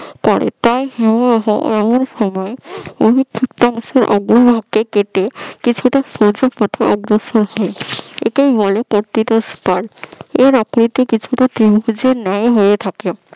করে তাই হিমবাহ এমন সময় অধিকক্ষিপ্তাংশে অগ্রভাগকে কেটে। কিছুটা সোজা পথে অগ্রসর হয় একেই বলে প্রকৃতস্থল এর আকৃতি কিছুটা ত্রিভুজের ন্যায় হয়ে থাকে